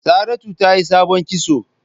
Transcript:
Saratu tayi sabon kitso.